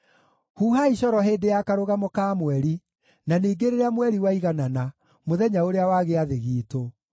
Huhai coro hĩndĩ ya Karũgamo ka Mweri, na ningĩ rĩrĩa mweri waiganana, mũthenya ũrĩa wa Gĩathĩ giitũ;